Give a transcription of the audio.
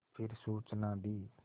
फिर सूचना दी